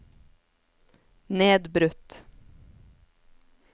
nedbrutt